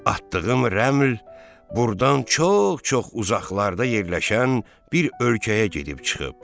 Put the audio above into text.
Atdığım rəml burdan çox-çok uzaqlarda yerləşən bir ölkəyə gedib çıxıb.